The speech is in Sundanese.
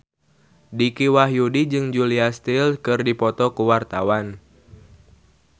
Dicky Wahyudi jeung Julia Stiles keur dipoto ku wartawan